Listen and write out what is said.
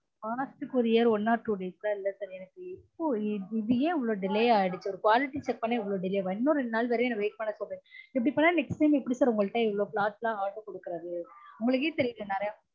fast courier one or two days எல்லான் இல்ல sir எனக்கு இப்பொ இது ஏன் இவ்ளொ delay ஆகிடுச்சு இன்னும் ரெண்டு நாள் வேற என்ன wait பன்ண சொல்ரீங்க இப்டி பண்ணா next time எப்டி sir இவ்ளொ cloth லான் order கொடுக்குரது